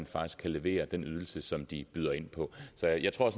faktisk kan levere den ydelse som de byder ind på så jeg tror